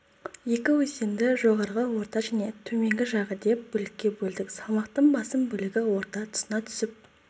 екі өзенді жоғарғы орта және төменгі жағы деп бөлікке бөлдік салмақтың басым бөлігі орта тұсына түсіп